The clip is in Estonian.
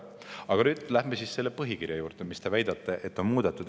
Aga nüüd läheme põhikirja juurde, mida teie väitel on muudetud.